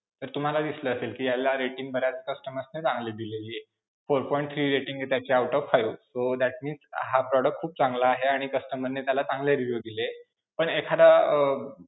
तर तुम्हाला दिसलं असेल कि ह्याला rating बऱ्याच customer ने चांगले दिलेली आहे. four point three rating त्याच्या out of five, that means हा product खूप चांगला आहे आणि customer ने त्याला चांगले review दिलेत, पण एखादा अं